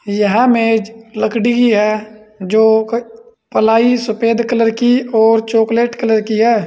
यह मेज लकड़ी की है जो कोई प्लाई सफेद कलर की और चॉकलेट कलर की है।